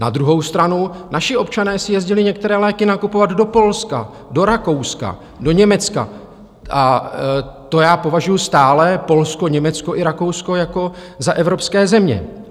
Na druhou stranu naši občané si jezdili některé léky nakupovat do Polska, do Rakouska, do Německa, a to já považuju stále Polsko, Německo i Rakousko jako za evropské země.